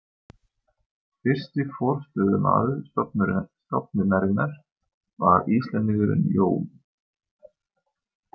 Fyrsti forstöðumaður stofnunarinnar var Íslendingurinn Jón